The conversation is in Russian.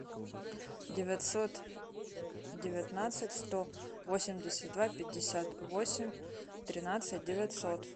девятьсот девятнадцать сто восемьдесят два пятьдесят восемь тринадцать девятьсот